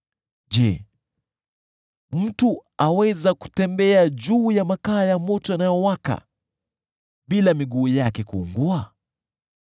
Je, mtu aweza kutembea juu ya makaa ya moto yanayowaka bila miguu yake kuungua?